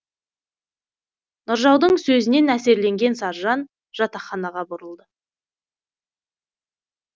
нұржаудың сөзінен әсерленген саржан жатақханаға бұрылды